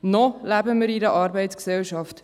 Noch leben wir in einer Arbeitsgesellschaft.